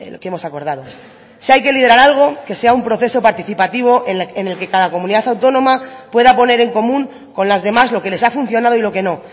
que hemos acordado si hay que liderar algo que sea un proceso participativo en el que cada comunidad autónoma pueda poner en común con las demás lo que les ha funcionado y lo que no